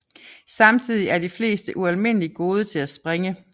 Samtidig er de fleste ualmindelig gode til at springe